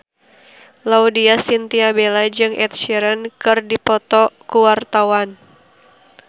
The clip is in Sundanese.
Laudya Chintya Bella jeung Ed Sheeran keur dipoto ku wartawan